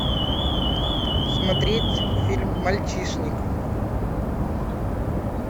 смотреть фильм мальчишник